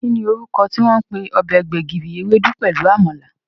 Kí ni orúkọ tí wọ́n ń pè ọbẹ̀ gbẹ̀gìrì, ewédú pelu Àmàlà?